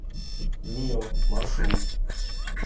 мио маршрут